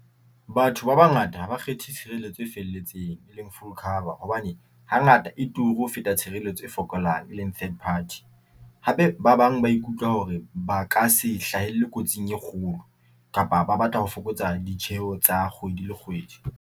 Batho ba bangata ha ba kgethe tshireletso e felletseng e leng full cover hobane hangata e turu ho feta tshireletso e fokolang e leng third party, hape ba bang ba ikutlwa hore ba ka se hlahelle kotsing e kgolo kapa ba batla ho fokotsa ditjeho tsa kgwedi le kgwedi.